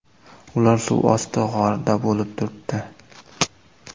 Ular suv osti g‘orida bo‘lib turibdi.